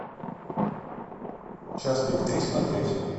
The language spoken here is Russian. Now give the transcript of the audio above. час пик три смотреть